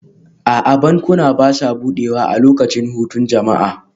A'a, bankuna ba sa buɗewa a lokacin hutun jama'a